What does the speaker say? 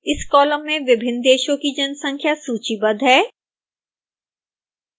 इस कॉलम में विभिन्न देशों की जनसंख्या सूचीबद्ध है